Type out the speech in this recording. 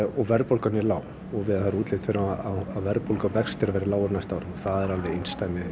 og verðbólgan er lág og það er útlit fyrir að verðbólga og vextir verði lágir á næsta ári það er alveg einsdæmi